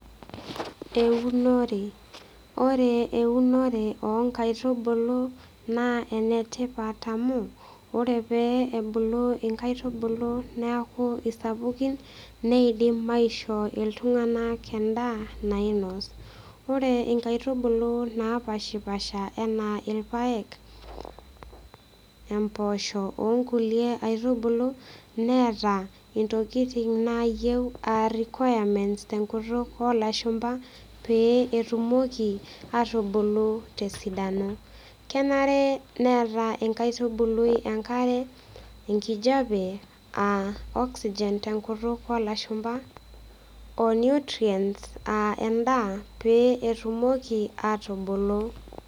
Eunore ore eunore onkaitubulu naa enetipat amu ore pee ebulu inkaitubulu naku isapukin neidim aishoo iltung'anak endaa nainos ore inkaitubulu napashipasha enaa ilpayek empoosho onkulie aitubulu neeta intokiting naayieu aa requirements tenkutuk olashumpa pee etumoki atubulu tesidano kenare neeta inkaitubului enkare enkijape aa oxygen tenkutuk olashumpa o nutrients uh endaa pee etumoki atubulu.